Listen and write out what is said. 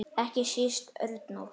Ekki síst Örnólf.